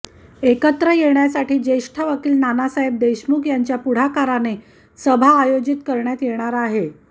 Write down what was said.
एकत्र येण्यासाठी ज्येष्ठ वकील नानासाहेब देशमुख यांच्या पुढाकाराने सभा आयोजित करण्यात येणार आहे